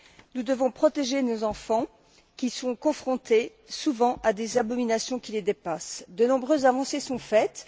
Nous devons protéger nos enfants qui sont souvent confrontés à des abominations qui les dépassent. De nombreuses avancées sont faites.